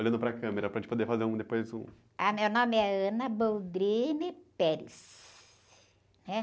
Olhando para a câmera, para a gente poder fazer depois um...h, meu nome é, né?